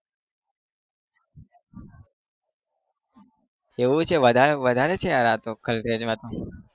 એવું છે વધારે વધારે આતો થલતેજમાં